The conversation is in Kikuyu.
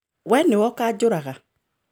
We nĩwe ukanjũraga